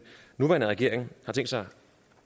nuværende regering har tænkt sig